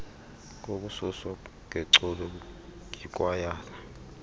kokususwa ngeculo yikwayala